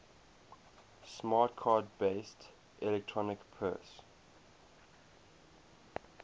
smart card based electronic purse